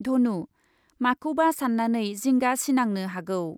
धनु, माखौबा सान्नानै जिंगा सिनांनो हागौ ।